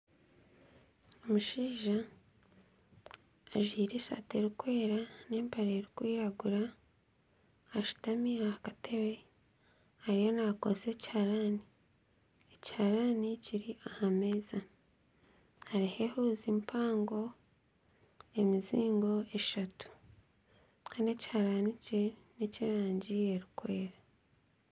Omushaija ajwaire esaati erikwera n'empare erikwiragura ashutami aha katebe ariyo nakozesa ekiharani. Ekiharani kiri aha meeza. Hariho ehuuzi mpango, emizingo eshatu kandi ekiharani kye n'ekyerangi erikwera.